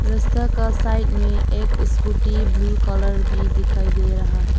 रस्ता का साइड में एक स्कूटी ब्लू कलर भी दिखाई दे रहा है।